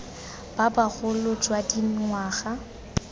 ba ba bogolo jwa dingwaga